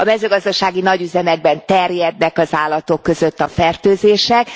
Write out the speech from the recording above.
A mezőgazdasági nagyüzemekben terjednek az állatok között a fertőzések.